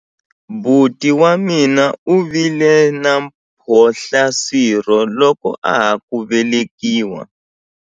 Buti wa mina u vile na mphohlaswirho loko a ha ku velekiwa.